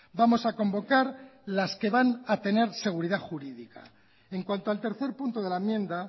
vamos a convocar las que van a tener seguridad jurídica en cuanto al tercer punto de la enmienda